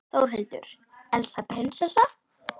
Þórhildur: Elsa prinsessa?